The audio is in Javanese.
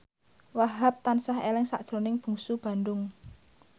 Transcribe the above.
Wahhab tansah eling sakjroning Bungsu Bandung